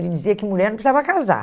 Ele dizia que mulher não precisava casar.